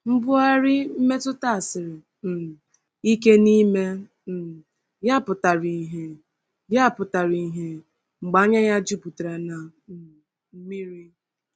Mbugharị mmetụta siri um ike n’ime um ya pụtara ìhè ya pụtara ìhè mgbe anya ya juputara na um mmiri.